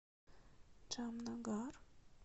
джамнагар